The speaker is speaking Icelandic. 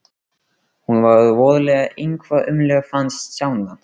Hún var voðalega eitthvað ömmuleg fannst Stjána.